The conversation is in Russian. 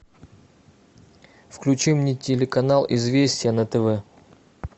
включи мне телеканал известия на тв